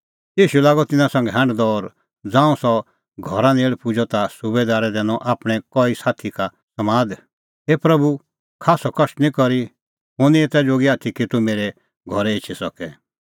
ईशू लागअ तिन्नां संघै हांढदअ और ज़ांऊं सह घरा नेल़ पुजअ ता सुबैदारै दैनअ आपणैं कई साथी का समाद हे प्रभू खास्सअ कष्ट निं करी हुंह निं एता जोगी आथी कि तूह मेरै घरै एछी सके